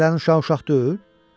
Fəhlənin uşağı uşaq deyil?